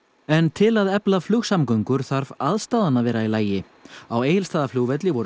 en til að efla flugsamgöngur þarf aðstaðan að vera í lagi á Egilsstaðaflugvelli voru